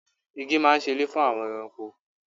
Igi máa ń ṣe ilé fún àwọn ẹranko.